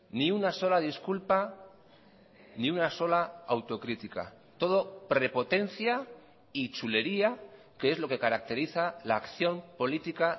ni una sola disculpa ni una sola autocrítica todo prepotencia y chulería que es lo que caracteriza la acción política